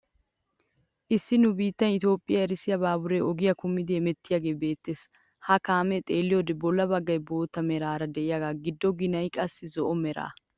Issi nu biittee Itoophphiyan erissiyaa baaburee ogiyaa kumidi hemettiyaagee beettees. Ha kaamiyaa xeelliyoode bolla baggay bootta meraara de'iyaagee giddo ginay qassi zo"o mera.